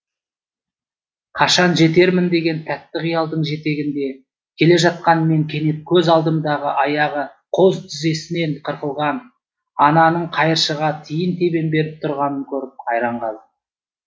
қашан жетермін деген тәтті қиялдың жетегінде келе жатқан мен кенет көз алдымдағы аяғы қос тізесінен қырқылған ананың қайыршыға тиын тебен беріп тұрғанын көріп қайран қалдым